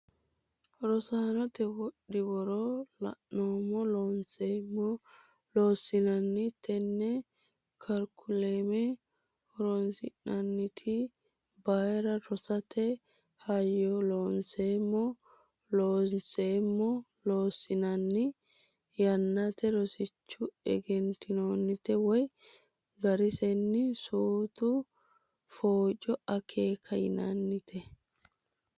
Rosiisate Wodhi woro Looseemmo Loonseemmo Loossinanni Tenne karikulame horonsi noonniti bayra rosiisate hayyo Looseemmo Loonseemmo Loossinanni yaamante rosichunni egennantinote woy garisenni Suutu Facco Akeeka yinannite.